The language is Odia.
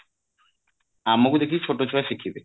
ଆମକୁ ଦେଖି ଛୋଟ ଛୁଆ ଶିଖିବେ